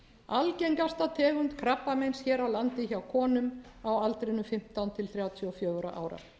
algengasta tegund krabbameins hér á landi hjá konum á aldrinum fimmtán til þrjátíu og fjögurra ára